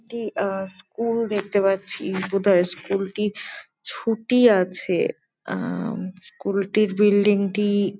একটি আহ স্কুল দেখতে পাচ্ছি বোধয় স্কুল -টি ছুটি আছে আহ স্কুল -টির বিল্ডিং -টি--